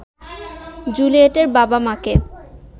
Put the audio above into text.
জুলিয়েটের বাবা-মাকে